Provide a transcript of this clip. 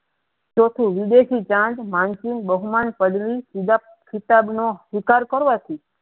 તેથી વિદેશી ચાંગ પડેંસી બાહીમાં શિકાર કરવાથી